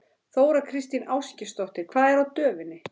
Þóra Kristín Ásgeirsdóttir: Hvað er á döfinni?